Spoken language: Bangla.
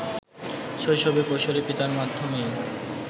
শৈশবে কৈশরে পিতার মাধ্যমেই